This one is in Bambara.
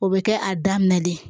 O bɛ kɛ a daminɛ de ye